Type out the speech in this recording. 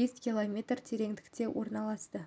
бес километр тереңдікте орналасты